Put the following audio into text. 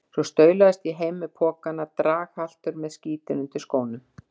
Svo staulaðist ég heim með pokana, draghaltur með skítinn undir skónum.